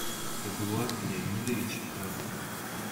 эдуард леонидович разыков